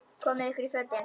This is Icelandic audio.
Komiði ykkur í fötin.